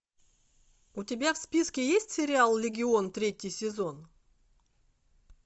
у тебя в списке есть сериал легион третий сезон